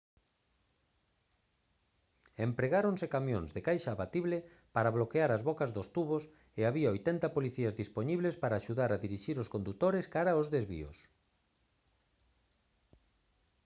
empregáronse camións de caixa abatible para bloquear as bocas dos tubos e había 80 policías dispoñibles para axudar a dirixir os condutores cara os desvíos